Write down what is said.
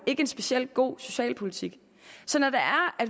ikke en speciel god socialpolitik så når